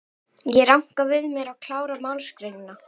Ég ranka við mér og klára málsgreinina.